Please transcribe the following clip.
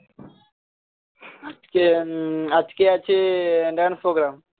আজকে উম আজকে আছে dance প্রোগ্রাম